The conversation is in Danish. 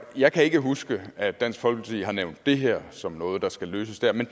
jeg kan ikke huske at dansk folkeparti har nævnt det her som noget der skal løses der men